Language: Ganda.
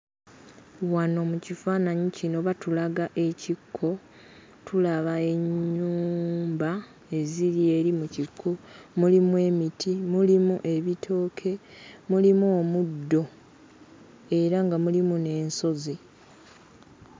Wano mu kifaananyi kino batulaga ekikko, tulaba ennyumba eziri eri mu kikko, mulimu emiti, mulimu ebitooke, mulimu omuddo era nga mulimu n'ensozi.